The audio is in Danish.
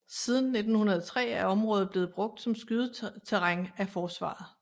Siden 1903 er området blevet brugt som skydeterræn af Forsvaret